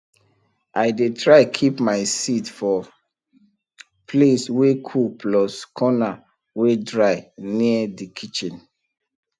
i dey try keep my seed for place wey cool plus corner wey dry near de kitchen